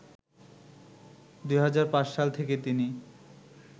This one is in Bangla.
২০০৫ সাল থেকে তিনি